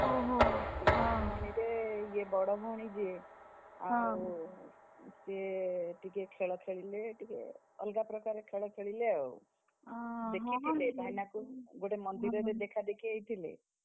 ଓହୋ! ହଁ, ତିନି ଭଉଣୀରେ ଇଏ ବଡ ଭଉଣୀ ଯେ, ସିଏ ଟିକେ ଖେଳ ଖେଳିଲେ ଟିକେ, ଅଲଗାପ୍ରକାର ଖେଳ ଖେଳିଲେ ଆଉ, ଗୋଟେ ମନ୍ଦିରରେ ଦେଖାଦେଖି ହେଇଥିଲେ,